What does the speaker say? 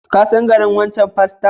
Ka san garin wancan paston?